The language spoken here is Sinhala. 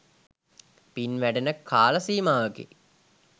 පින් වැඩෙන කාල සීමාවකි.